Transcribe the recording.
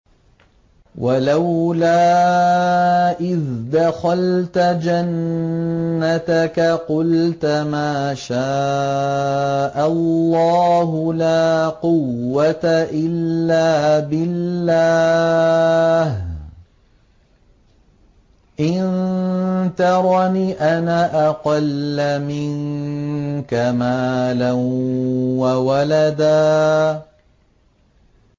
وَلَوْلَا إِذْ دَخَلْتَ جَنَّتَكَ قُلْتَ مَا شَاءَ اللَّهُ لَا قُوَّةَ إِلَّا بِاللَّهِ ۚ إِن تَرَنِ أَنَا أَقَلَّ مِنكَ مَالًا وَوَلَدًا